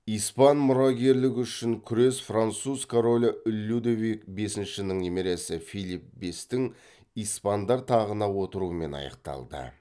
испан мұрагерлігі үшін күрес француз королі людовик бесіншінің немересі филипп бестің испандар тағына отыруымен аяқталды